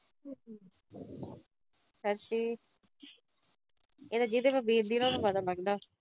ਸੱਚੀ। ਇਹ ਤਾਂ ਜਿਹਦੇ ਤੇ ਬੀਤ ਦੀ ਆ, ਉਹਨੂੰ ਪਤਾ ਲੱਗਦਾ।